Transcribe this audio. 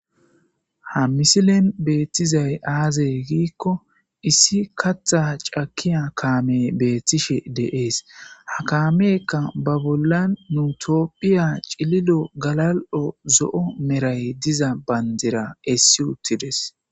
Ha misilen beettizay aaze giiko issi kaththa cakkiya kaamey beetishe de'es ha kaameyka ba bolla Tophphiya cililo, galal'o, zo'o medhay diza bandira essi uttides.